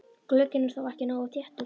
Glugginn er þá ekki nógu þéttur.